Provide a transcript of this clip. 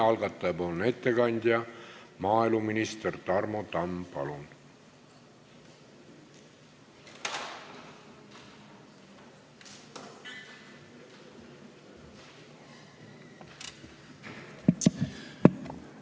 Algataja ettekandja maaeluminister Tarmo Tamm, palun!